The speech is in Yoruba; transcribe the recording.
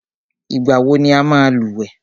Ìgbà wọ ní ọ máa lúwẹ̀ẹ́?